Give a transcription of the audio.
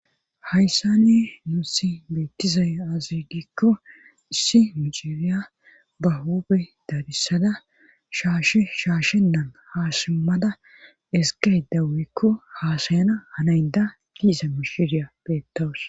hayssani nuu si beettizay azigikko issi miciriya ba hobe dadissada shasheshaashe nan haasimmada eskay dawikko haasayana hanaynda diiza mishiriya beettowos